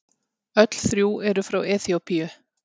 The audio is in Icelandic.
Öll þrjú eru frá Eþíópíu.